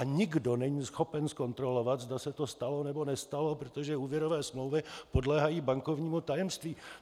A nikdo není schopen zkontrolovat, zda se to stalo, nebo nestalo, protože úvěrové smlouvy podléhají bankovnímu tajemství.